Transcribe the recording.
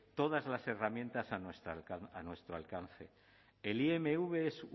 todas las herramientas a nuestro alcance el imv es